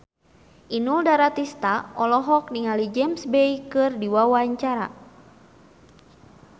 Inul Daratista olohok ningali James Bay keur diwawancara